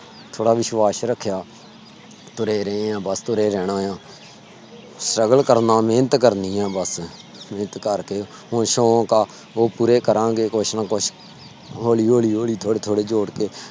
ਥੋੜਾ ਵਿਸ਼ਵਾਸ ਰੱਖਿਆ। ਤੁਰੇ ਰਹੇ ਆਂ ਬਸ ਤੁਰੇ ਰਹਿਣਾ ਆ। struggle ਕਰਨਾ ਮਿਹਨਤ ਕਰਨੀ ਆ ਬਸ ਉਹ ਸ਼ੋਨਕ ਆ ਪੁਰੇ ਕਰਾਂਗੇ ਕੁੱਛ ਨਾ ਕੁੱਛ ਹੋਲੀ- ਹੋਲੀ ਥੋੜੇ- ਥੋੜੇ ਜੋੜ ਕੇ